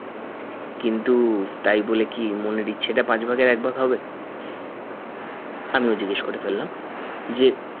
কিন্তু তাই বলে কি মনের ইচ্ছেটা পাঁচ ভাগের এক ভাগ হবে আমিও জিজ্ঞেস করে ফেললাম যে